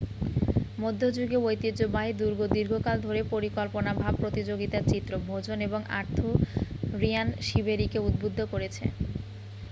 মধ্যযুগীয় ঐতিহ্যবাহী দুর্গ দীর্ঘকাল ধরে কল্পনাভাব প্রতিযোগিতার চিত্র ভোজন এবং আর্থুরিয়ান শিবেরিকে উদ্বুদ্ধ করেছে